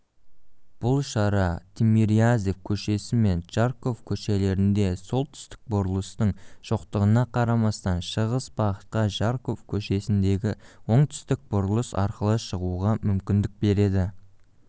бұл шара тимирязев көшесі мен жароков көшелерінде солтүстік бұрылыстың жоқтығына қарамастан шығыс бағытқа жароков көшесіндегі оңтүстік бұрылыс арқылы шығуға мүмкіндік береді